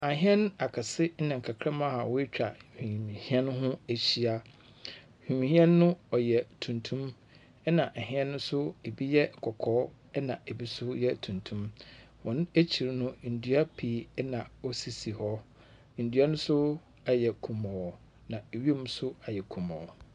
Ahɛn akɛse na nkakrama a watwa wimhɛn ho ahyia. Wimhɛn no ɔyɛ tuntum, ɛna ɛhɛn no so ebi yɛ kɔkɔɔ ɛna ebi so yɛ tuntum. Wɔn ekyir no ndua pii ɛna osisi hɔ. Ndua no ɔyɛ kumɔɔn, na ewim so ayɛ kumɔɔn.